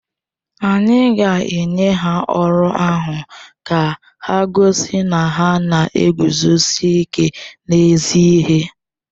Anyị ga-enye ha ọrụ ahụ ka ha gosi na ha na-eguzosi ike n’ezi ihe.